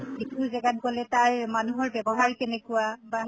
যিটো গেজাত গʼলে তাই মানুহৰ ব্য়ৱহাৰ কেনেকুৱা বা